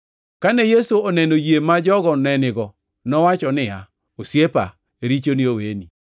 Kane Yesu oneno yie ma jogo ne nigo, nowacho niya, “Osiepa, richoni oweni.”